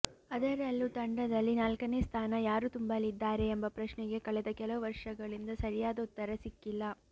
ಅದರಲ್ಲೂ ತಂಡದಲ್ಲಿ ನಾಲ್ಕನೇ ಸ್ಥಾನ ಯಾರು ತುಂಬಲಿದ್ದಾರೆ ಎಂಬ ಪ್ರಶ್ನೆಗೆ ಕಳೆದ ಕೆಲವು ವರ್ಷಗಳಿಂದ ಸರಿಯಾದ ಉತ್ತರ ಸಿಕ್ಕಿಲ್ಲ